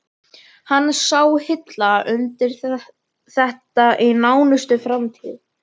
Hann sá hilla undir þetta allt í nánustu framtíð.